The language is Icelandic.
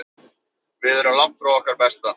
Við erum langt frá okkar besta.